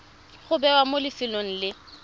go bewa mo lefelong le